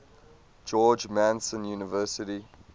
george mason university